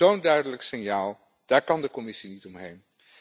Zo'n duidelijk signaal, daar kan de Commissie niet omheen.